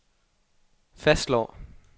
fastslår